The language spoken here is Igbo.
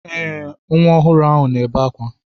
Ee, nwa ọhụrụ ahụ na-ebe akwa.